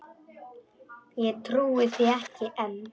Ég trúi því ekki enn.